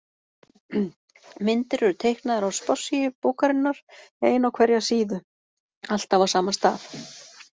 Myndir eru teiknaðar á spássíu bókarinnar, ein á hverja síðu, alltaf á sama stað.